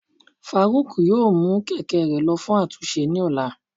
faruq yóò mu kẹkẹ rẹ lọ fun atúnse ni òlá.